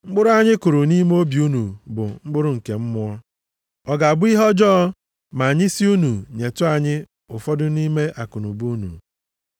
Mkpụrụ anyị kụrụ nʼime obi unu bụ mkpụrụ nke mmụọ. Ọ ga-abụ ihe ọjọọ ma anyị sị unu nyetụ anyị ụfọdụ nʼime akụnụba unu?